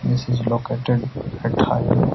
this is located --